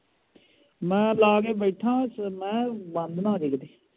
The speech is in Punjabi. ਮੈ ਲਾ ਕੇ ਬੈਠਾ ਹਾਂ ਮੈ ਕਿਹਾ ਬੰਦ ਨਾ ਹੋਜੇ ਕਿਤੇ